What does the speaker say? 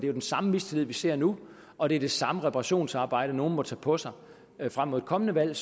jo den samme mistillid vi ser nu og det er det samme reparationsarbejde nogle må tage på sig frem mod et kommende valg et